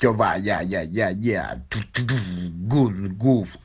ебать я дня гуф